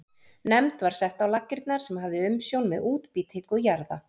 Nefnd var sett á laggirnar sem hafði umsjón með útbýtingu jarða.